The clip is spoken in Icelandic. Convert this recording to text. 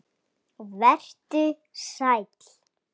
Vertu sæl.